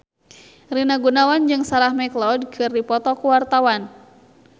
Rina Gunawan jeung Sarah McLeod keur dipoto ku wartawan